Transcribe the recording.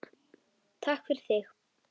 Takk fyrir þig.